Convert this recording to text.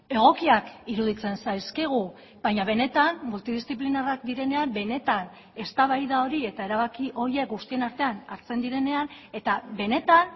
egokiak iruditzen zaizkigu baina benetan multidiziplinarrak direnean benetan eztabaida hori eta erabaki horiek guztien artean hartzen direnean eta benetan